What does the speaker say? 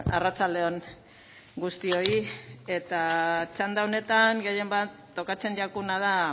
arratsalde on guztioi eta txanda honetan gehien bat tokatzen jakuna da